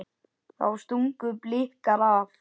Þá stungu Blikar af.